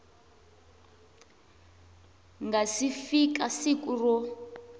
nga si fika siku ro